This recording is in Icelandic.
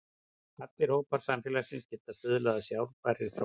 Allir hópar samfélagsins geta stuðlað að sjálfbærri þróun.